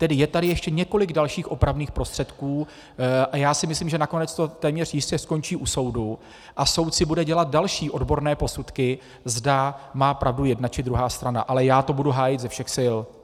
Tedy je tady ještě několik dalších opravných prostředků a já si myslím, že nakonec to téměř jistě skončí u soudu a soud si bude dělat další odborné posudky, zda má pravdu jedna, či druhá strana, ale já to budu hájit ze všech sil.